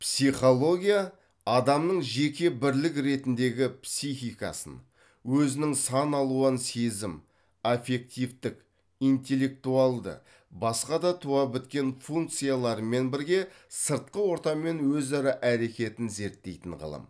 психология адамның жеке бірлік ретіндегі психикасын өзінің сан алуан сезім аффективтік интеллектуалды басқа да туа біткен функцияларымен бірге сыртқы ортамен өзара әрекетін зерттейтін ғылым